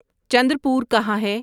چندر پور کہاں ہے